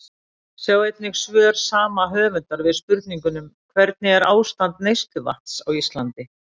Sjá einnig svör sama höfundar við spurningunum: Hvernig er ástand neysluvatns á Íslandi?